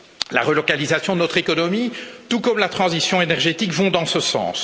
La relocalisation de notre économie, tout comme la transition énergétique vont dans ce sens.